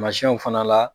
Tamasiyɛnw fana la